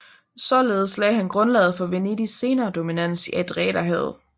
Således lagde han grundlaget for Venedigs senere dominans i Adriaterhavet